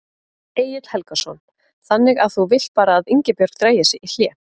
Egill Helgason: Þannig að þú vilt bara að Ingibjörg dragi sig í hlé?